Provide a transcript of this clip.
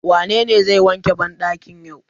Wanene zai wanke bandakin yau?